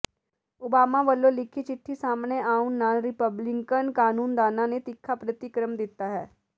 Obama ਵੱਲੋਂ ਲਿਖੀ ਚਿੱਠੀ ਸਾਹਮਣੇ ਆਉਣ ਨਾਲ ਰਿਪਬਲਿਕਨ ਕਾਨੂੰਨਦਾਨਾਂ ਨੇ ਤਿੱਖਾ ਪ੍ਰਤੀਕਰਮ ਦਿੱਤਾ ਹੈ